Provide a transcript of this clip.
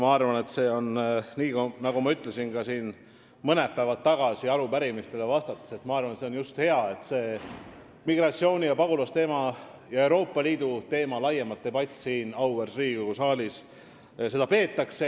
Ma arvan, et sellega on nii, nagu ma ütlesin siin ka mõned päevad tagasi arupärimistele vastates: see on hea, et seda debatti migratsiooni- ja pagulasteema ning Euroopa Liidu üle laiemalt siin auväärses Riigikogu saalis peetakse.